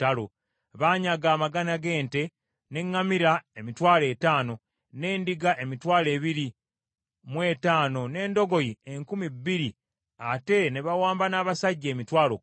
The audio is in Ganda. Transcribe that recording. Baanyaga amagana g’ente, n’eŋŋamira emitwalo etaano, n’endiga emitwalo abiri mu etaano n’endogoyi enkumi bbiri ate ne bawamba n’abasajja emitwalo kkumi.